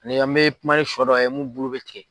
Ani an bɛ kuma ni shɔ dɔ ye mun bulu bɛ tigɛ.